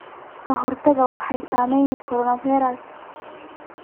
Qaxootiga waxaa saameeyay coronavirus.